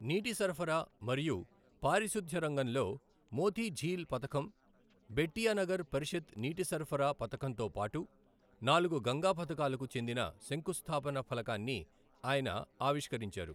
నీటి సరఫరా మరియు పారిశుధ్య రంగంలో మోతీఝీల్ పథకం, బెట్టియా నగర్ పరిషత్ నీటి సరఫరా పథకంతో పాటు నాలుగు గంగా పథకాలకు చెందిన శంకుస్థాపన ఫలకాన్ని ఆయన ఆవిష్కరించారు.